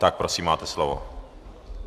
Tak prosím, máte slovo.